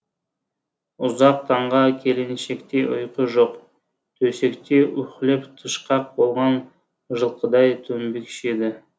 ұзақ таңға келіншекте ұйқы жоқ төсекте уһлеп тышқақ болған жылқыдай дөңбекшиді